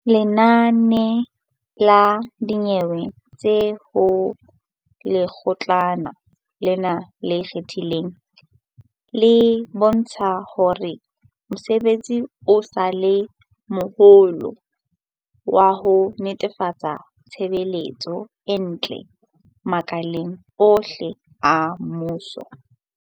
Lenane la dinyewe tse ho Lekgotlana lena le Ikgethileng, di bontsha hore mosebetsi o sa le moholo wa ho netefatsa tshebetso e ntle makaleng ohle a mmuso.